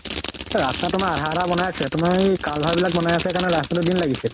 অ ৰাস্তা তোমাৰ আধা আধা বনাই আছে । তোমাৰ এই culver বিলাক বনাই আছে কাৰণে, তোমাৰ ৰাস্তা তোত দিন লাগিছে ।